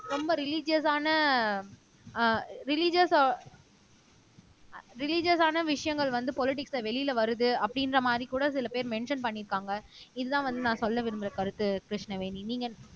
ரொம்ப ரிலீஜியஸான அஹ் ரிலீஜியஸ் ரிலீஜியஸான விஷயங்கள் வந்து பொலிடிக்ஸ்ல வெளியில வருது அப்படின்ற மாரி கூட சில பேர் மென்ஷன் பண்ணியிருக்காங்க இதுதான் வந்து நான் சொல்ல விரும்பற கருத்து கிருஷ்ணவேணி நீங்க